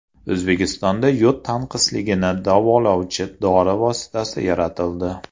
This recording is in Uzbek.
O‘zbekistonda yod tanqisligini davolovchi dori vositasi yaratildi.